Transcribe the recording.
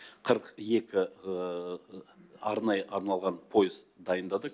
қырық екі арнайы арналған пойыз дайындадық